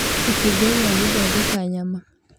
kĩbungo gĩa gũthondeka nyama